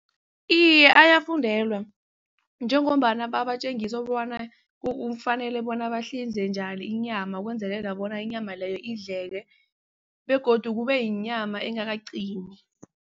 Iye, ayafundelwa njengombana babatjengisa bona bona bahlinze njani inyama ukwenzelela bona inyama leyo indleke begodu kubeyinyama engakaqini.